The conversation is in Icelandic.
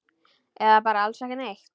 Eða bara alls ekki neitt?